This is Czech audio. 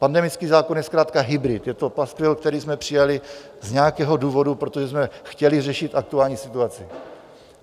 Pandemický zákon je zkrátka hybrid, je to paskvil, který jsme přijali z nějakého důvodu, protože jsme chtěli řešit aktuální situaci.